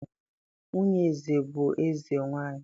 nwunye eze bu eze-nwanyi.